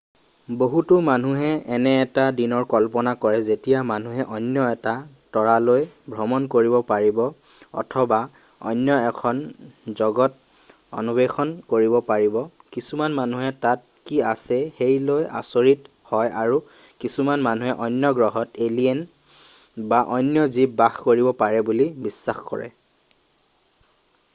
বহুতো মানুহে এনে এটা দিনৰ কল্পনা কৰে যেতিয়া মানুহে অন্য এটা তৰালৈ ভ্ৰমণ কৰিব পাৰিব অথবা অন্য এখন জগত অন্বেষণ কৰিব পাৰিব কিছুমান মানুহে তাত কি আছে সেই লৈ আচৰিত হয় আৰু কিছুমান মানুহে অন্য গ্ৰহত এলিয়েন বা অন্য জীৱ বাস কৰিব পাৰে বুলি বিশ্বাস কৰে